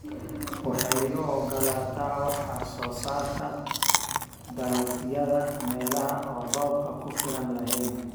Waxay u ogolaataa wax soo saarka dalagyada meelaha aan roob ku filan lahayn.